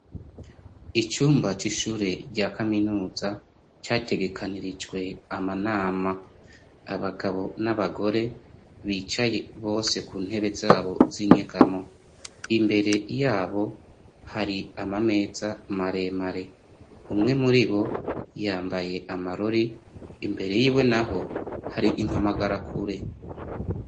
Icumba c'ishure rya kaminuza categekanirijwe amanama abagabo n'abagore bicaye bose ku ntebe zabo z'inyegamo imbere yabo hari amameza maremare umwe muri bo yambaye amarore imbere yiwe na ho hari impamagara akure.